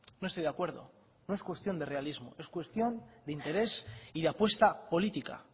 no estoy de acuerdo no es cuestión de realismo es cuestión de interés y de apuesta política